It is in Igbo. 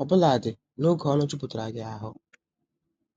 obuladi n'oge ọrụ jupụtara gị ahụ.